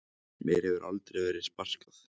Brimþór, hversu margir dagar fram að næsta fríi?